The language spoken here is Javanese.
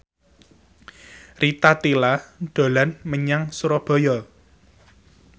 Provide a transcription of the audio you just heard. Rita Tila dolan menyang Surabaya